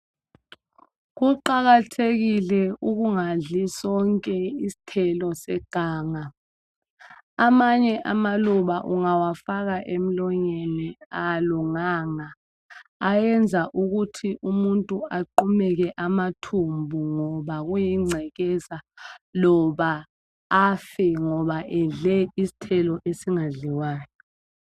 Kuqakathekile ukungadli sonke isithelo seganga. Amanye amaluba ungawafaka emlonyeni awalunganga, ayenza ukuthi umuntu aqumeke amathumbu ngoba kuyingcekeza loba afe ngoba edle isithelo esingadliwayo.